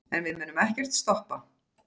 En við munum ekkert stoppa.